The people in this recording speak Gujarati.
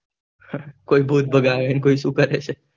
કોઈ ભૂત ભગાવે ને કોઈ શુ કરે છે